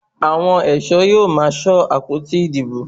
Àwọn ẹ̀ṣọ́ yóò máa ṣọ́ àpótí ìbò.